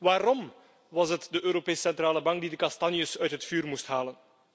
Waarom was het de Europese Centrale Bank die de kastanjes uit het vuur moest halen?